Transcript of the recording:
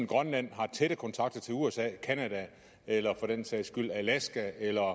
grønland har tætte kontakter til usa canada eller for den sags skyld alaska eller